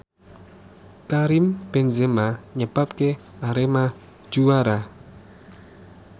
Karim Benzema nyebabke Arema juara